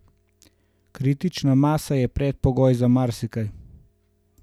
Kritična masa je predpogoj za marsikaj.